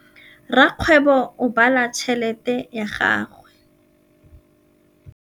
Rakgwêbô o bala tšheletê ya gagwe.